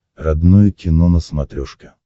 родное кино на смотрешке